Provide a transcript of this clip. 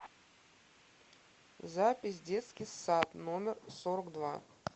запись детский сад номер сорок два